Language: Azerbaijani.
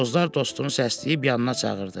Bozlar dostunu səsləyib yanına çağırdı.